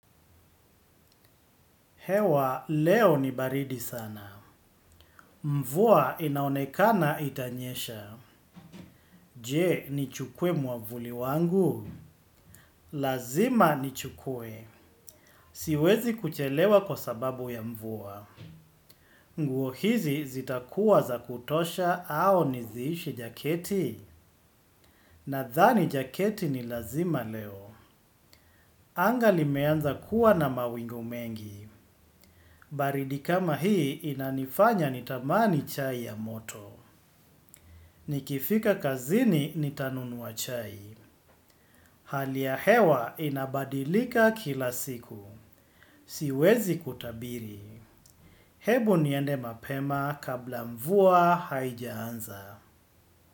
Hewa, leo ni baridi sana. Mvua inaonekana itanyesha. Je, nichukue mwavuli wangu? Lazima nichukue. Siwezi kuchelewa kwa sababu ya mvuwa. Nguo hizi zitakuwa za kutosha au niziishi jaketi. Nadhani jaketi ni lazima leo. Anga limeanza kuwa na mawingu mengi. Baridi kama hii inanifanya nitamani chai ya moto. Nikifika kazini nitanunua chai. Hali ya hewa inabadilika kila siku. Siwezi kutabiri. Hebu niende mapema kabla mvua haijaanza.